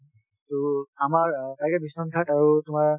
টো আমাৰ তাকে বিশ্বনাথ ঘাট আৰু তোমাৰ